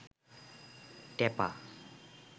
টেপা